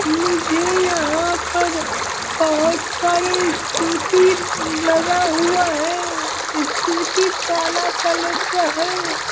मुझे यहाँ पर बहोत सारे स्कूटी लगा हुआ है स्टूटी ताला तलर का है।